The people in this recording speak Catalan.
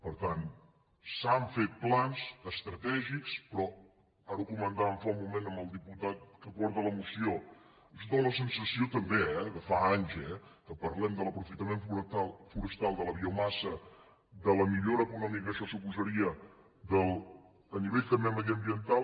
per tant s’han fet plans estratègics però ara ho comentàvem fa un moment amb el diputat que porta la moció ens dóna la sensació també eh de fa anys que parlem de l’aprofitament forestal de la biomassa de la millora econòmica que això suposaria a nivell també mediambiental